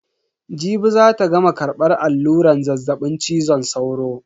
Jibi zata gama karbar alluran zazzabin cizon sauro.